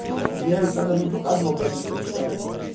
мне эканр не показывал но я быстро читаю